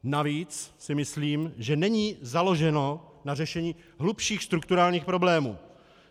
Navíc si myslím, že není založeno na řešení hlubších strukturálních problémů.